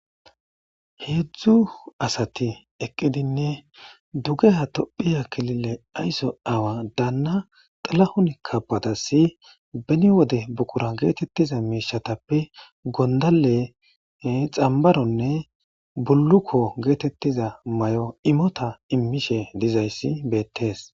Heedzdzu asati eqqidinne duge ha tophiya kilile ayso awa daanna xalahun kabadassi beni wode buqura geetettiza miishatappe gondale xambaronne bullukko geetettiza may'o imota immishe dizayssi beettees